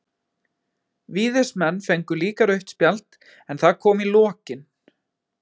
Víðismenn fengu líka rautt spjald, en það kom í lokin.